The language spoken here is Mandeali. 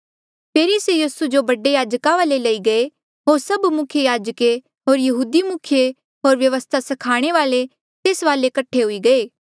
फेरी स्यों यीसू जो बडे याजका वाले लई गये होर सभ मुख्य याजके होर यहूदी मुखिये होर व्यवस्था स्खाणे वाल्ऐ तेस वाले कठे हुई गये